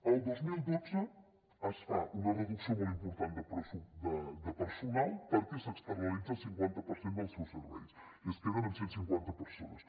el dos mil dotze es fa una reducció molt important de personal perquè s’externalitza el cinquanta per cent dels seus serveis i es queden amb cent i cinquanta persones